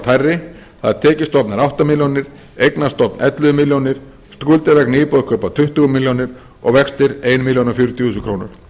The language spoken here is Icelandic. hærri tekjustofn er átta milljónir eignastofn ellefu milljónir skuldir vegna íbúðarkaupa tuttugu milljónir og vextir þúsund fjörutíu þúsund krónur